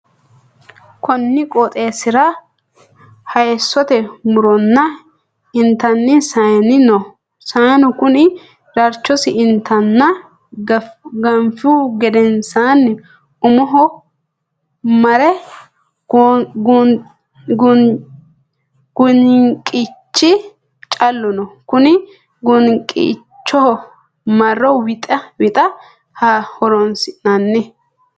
Konni qooxeesira hayisote muronna intanni saanni no. Saanu kunni darchosi intanna gaafihu genensanni umoho mare goyinqichi callu no. Konni goyinqicho Maro wixate horoonsi'nanni.